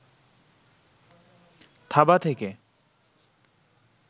থাবা থেকে